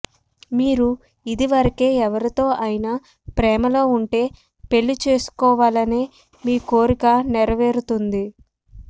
మీరు ఇది వరకే ఎవరితో అయినా ప్రేమలో ఉంటే పెళ్లి చేసుకోవాలనే మీ కోరిక నెరవేరుతుంది